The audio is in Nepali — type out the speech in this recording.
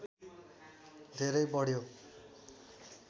धेरै बढ्यो